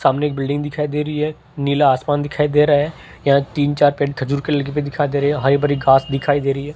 सामने के बिल्डिंग दिखाई दे रही है नीला आसमान दिखाई दे रहा है यहां तीन चार पेड़ खजूर के लगे हुए दिखाई दे रहे है हरी भरी घास दिखाई दे रही है।